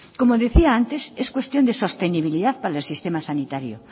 como decía antes es cuestión de sostenibilidad para el sistema sanitario